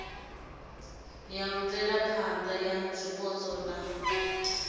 ya mvelaphana ya zwipotso na